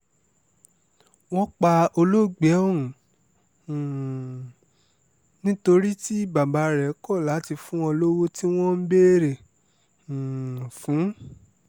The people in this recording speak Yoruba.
wọ́n pa olóògbé ọ̀hún um nítorí tí bàbá rẹ̀ kọ̀ láti fún wọn lọ́wọ́ tí wọ́n ń béèrè um fún